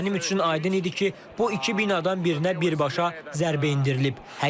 Mənim üçün aydın idi ki, bu iki binadan birinə birbaşa zərbə endirilib.